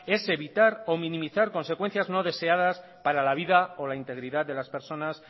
es evitar o minimizar consecuencias no deseadas para la vida o la integridad de las personas